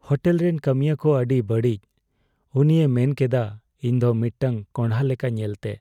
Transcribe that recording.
Hotel ᱨᱮᱱ ᱠᱟᱹᱢᱤᱭᱟᱹ ᱠᱚ ᱟᱹᱰᱤ ᱵᱟᱹᱲᱤᱡ ᱾ ᱩᱱᱤᱭ ᱢᱮᱱᱠᱮᱫᱟ, ᱤᱧ ᱫᱚ ᱢᱤᱫᱴᱟᱝ ᱠᱚᱸᱰᱷᱟ ᱞᱮᱠᱟ ᱧᱮᱞᱛᱮ ᱾